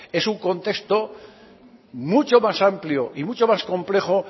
es un contexto mucho más amplio y mucho más complejo